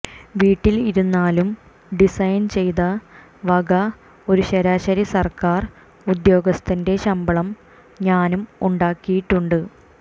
വീട്ടിൽ ഇരുന്നാലും ഡിസൈൻ ചെയ്ത വക ഒരു ശരാശരി സർക്കാർ ഉദ്യോഗസ്ഥന്റെ ശമ്പളം ഞാനും ഉണ്ടാക്കിയിട്ടുണ്ട്